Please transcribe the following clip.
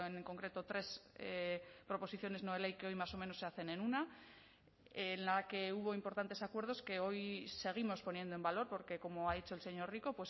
en concreto tres proposiciones no de ley que hoy más o menos se hacen en una en la que hubo importantes acuerdos que hoy seguimos poniendo en valor porque como ha dicho el señor rico